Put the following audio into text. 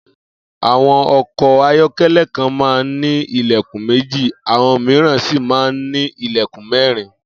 Àwo̩n o̩kò̩ ayó̩ké̩lé̩ kan máa ń ní ilè̩kùn méjì, àwo̩n mìíràn sì máa ń ní ilè̩kùn mé̩rin